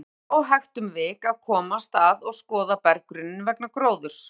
Þar er yfirleitt óhægt um vik að komast að og skoða berggrunninn vegna gróðurs.